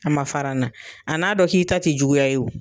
A ma fara n na ,a n'a dɔn k'i ta te juguya ye.